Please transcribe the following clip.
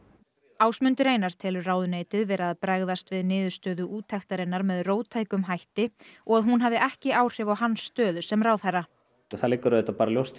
Ásmundur Einar telur ráðuneytið vera að bregðast við niðurstöðum úttektarinnar með róttækum hætti og að hún hafi ekki áhrif á hans stöðu sem ráðherra það liggur auðvitað bara ljóst